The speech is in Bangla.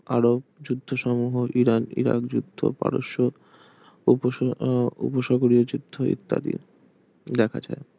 আরব যুক্ত সমুহ ইরাক ইরাক যুদ্ধ পারস্য ~ উহ উপসাগরীয় যুদ্ধ ইত্যাদি দেখা যায়